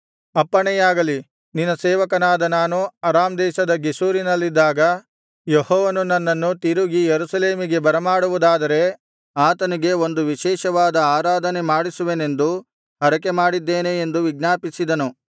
ಅಪ್ಪಣೆಯಾಗಲಿ ನಿನ್ನ ಸೇವಕನಾದ ನಾನು ಅರಾಮ್ ದೇಶದ ಗೆಷೂರಿನಲ್ಲಿದ್ದಾಗ ಯೆಹೋವನು ನನ್ನನ್ನು ತಿರುಗಿ ಯೆರೂಸಲೇಮಿಗೆ ಬರಮಾಡುವುದಾದರೆ ಆತನಿಗೆ ಒಂದು ವಿಶೇಷವಾದ ಆರಾಧನೆ ಮಾಡಿಸುವೆನೆಂದು ಹರಕೆಮಾಡಿದ್ದೇನೆ ಎಂದು ವಿಜ್ಞಾಪಿಸಿದನು